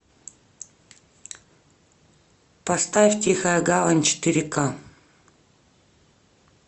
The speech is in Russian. поставь тихая гавань четыре ка